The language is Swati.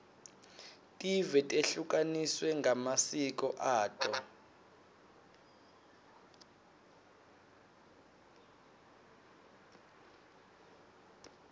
tive tehlukaniswe ngemasiko ato